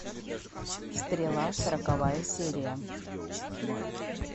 стрела сороковая серия